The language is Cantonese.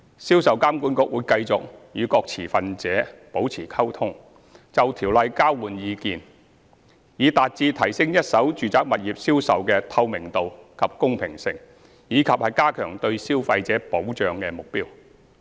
銷售監管局會繼續與各持份者保持溝通，並就《條例》交換意見，以達到提升一手住宅物業銷售的透明度及公平性，以及加強對消費者保障的目標。